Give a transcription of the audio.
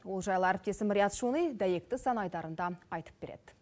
ол жайлы әріптесім риат шони дәйекті сан айдарында айтып береді